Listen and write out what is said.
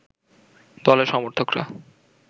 দলের সমর্থকরা